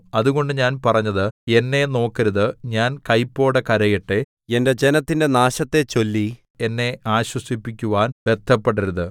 അതുകൊണ്ട് ഞാൻ പറഞ്ഞത് എന്നെ നോക്കരുത് ഞാൻ കൈപ്പോടെ കരയട്ടെ എന്റെ ജനത്തിന്റെ നാശത്തെച്ചൊല്ലി എന്നെ ആശ്വസിപ്പിക്കുവാൻ ബദ്ധപ്പെടരുത്